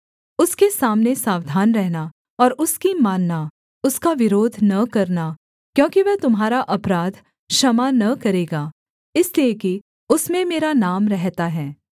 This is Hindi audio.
उसके सामने सावधान रहना और उसकी मानना उसका विरोध न करना क्योंकि वह तुम्हारा अपराध क्षमा न करेगा इसलिए कि उसमें मेरा नाम रहता है